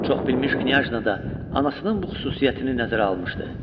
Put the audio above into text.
Çoxbilmiş knyajna da anasının bu xüsusiyyətini nəzərə almışdı.